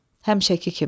Dedim, həmişəki kimi.